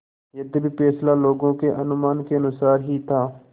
यद्यपि फैसला लोगों के अनुमान के अनुसार ही था